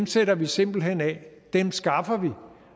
sætter vi simpelt hen af dem skaffer vi